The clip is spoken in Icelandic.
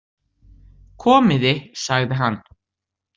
Komiði, sagði hann.